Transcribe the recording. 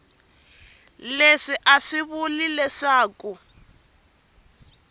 leswi a swi vuli leswaku